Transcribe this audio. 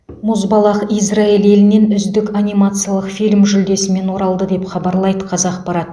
мұзбалақ израиль елінен үздік анимациялық фильм жүлдесімен оралды деп хабарлайды қазақпарат